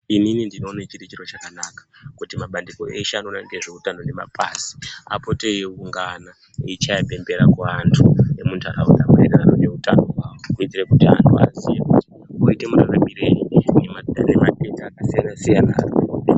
Inini ndinoona chiri chiro chakanaka kuti mabandiko eshe anoona ngezveutano nemapazi apote eiungana eichaye bembera kuantu emundaraunda maererano ngeutano hwawo. Kuitire kuti antu oziye kuti oite muraramirei ngematenda akasiyana-siyana.